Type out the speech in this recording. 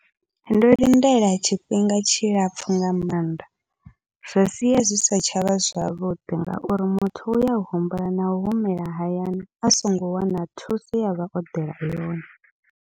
Ndo lindela tshifhinga tshilapfhu nga maanḓa, zwa sia zwi si tshavha zwavhuḓi ngauri muthu uya humbula na humela hayani a songo wana thuso ye avha o ḓela yone.